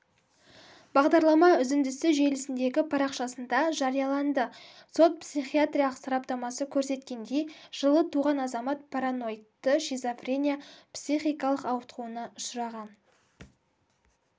бағдарлама үзіндісі желісіндегі парақшасында жарияланды сот-психиатриялық сараптамасы көрсеткендей жылы туған азамат параноидті шизофрения психикалық ауытқуына ұшыраған